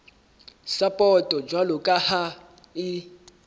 sapoto jwalo ka ha e